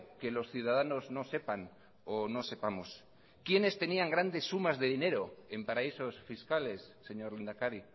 que los ciudadanos no sepan o no sepamos quiénes tenían grandes sumas de dinero en paraísos fiscales señor lehendakari